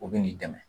U bɛ n'i dɛmɛ